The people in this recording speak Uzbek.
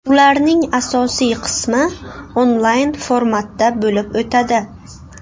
Ularning asosiy qismi onlayn formatda bo‘lib o‘tadi.